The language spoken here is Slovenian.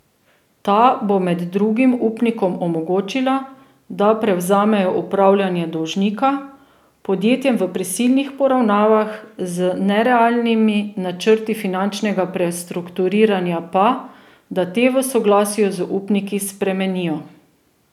Ta bo med drugim upnikom omogočila, da prevzamejo upravljanje dolžnika, podjetjem v prisilnih poravnavah z nerealnimi načrti finančnega prestrukturiranja pa, da te v soglasju z upniki spremenijo.